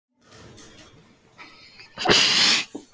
Og veröldin er sem í árdaga